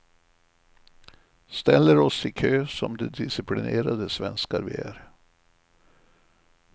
Ställer oss i kö som de disciplinerade svenskar vi är.